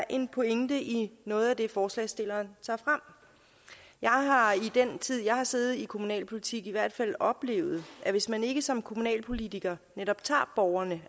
er en pointe i noget af det forslagsstillerne tager frem jeg har i den tid jeg har siddet i kommunalpolitik i hvert fald oplevet at hvis man ikke som kommunalpolitiker netop tager borgerne